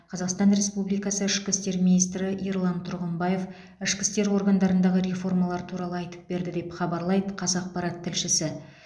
қазақстан республикасы ішкі істер министрі ерлан тұрғымбаев ішкі істер органдарындағы реформалар туралы айтып берді деп хабарлайды қазақпарат тілшісі